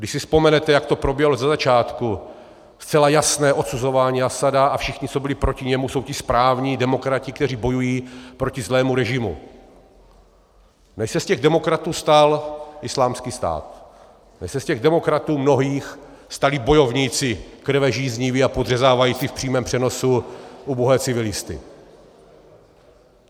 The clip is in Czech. Když si vzpomenete, jak to probíhalo ze začátku, zcela jasné odsuzování Asada a všichni, co byli proti němu, jsou ti správní demokrati, kteří bojují proti zlému režimu, než se z těch demokratů stal Islámský stát, než se z těch demokratů mnohých stali bojovníci krvežízniví a podřezávající v přímém přenosu ubohé civilisty.